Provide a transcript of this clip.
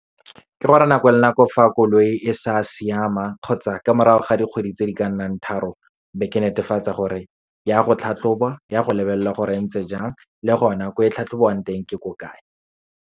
Ke gore nako le nako fa koloi e sa siama kgotsa ka morago ga dikgwedi tse di ka nnang tharo, be ke netefatsa gore ya go tlhatlhobwa, ya go lebelelwa gore e ntse jang, le gona ko e tlhatlhobiwang teng ke ko kae.